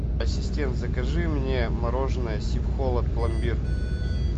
ассистент закажи мне мороженое сибхолод пломбир